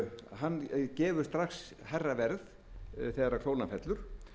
hann gefur strax hærra verð þegar krónan fellur